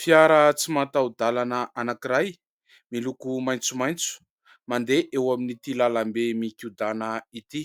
fiara tsy mahataho- dalana anankiray, miloko maintsomaintso mandeha eo amin'ity lalambe mikodana ity